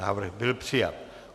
Návrh byl přijat.